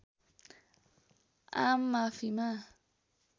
आम माफीमा